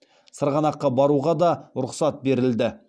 сырғанаққа баруға да рұқсат берілді